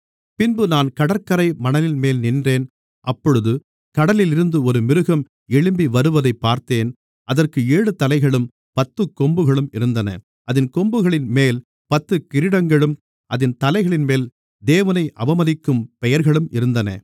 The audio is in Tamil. பின்பு நான் கடற்கரை மணலின்மேல் நின்றேன் அப்பொழுது கடலிலிருந்து ஒரு மிருகம் எழும்பிவருவதைப் பார்த்தேன் அதற்கு ஏழு தலைகளும் பத்துக்கொம்புகளும் இருந்தன அதின் கொம்புகளின்மேல் பத்து கிரீடங்களும் அதின் தலைகளின்மேல் தேவனை அவமதிக்கும் பெயர்களும் இருந்தன